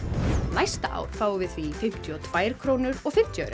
næsta ár fáum við því fimmtíu og tvær krónur og fimmtíu aura